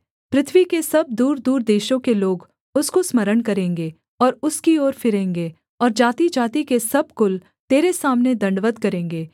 पृथ्वी के सब दूरदूर देशों के लोग उसको स्मरण करेंगे और उसकी ओर फिरेंगे और जातिजाति के सब कुल तेरे सामने दण्डवत् करेंगे